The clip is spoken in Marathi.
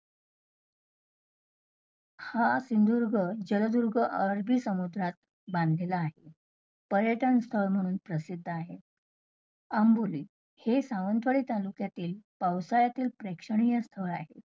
हा सिंधुदुर्ग -जलदुर्ग आरबी समुद्रात बांधलेला आहे. पर्यटन स्थळ म्हणून प्रसिद्ध आहे. आंबोली हे सावंतवाडी तालुक्यातील पावसाळ्यातील प्रेक्षणीय स्थळ आहे.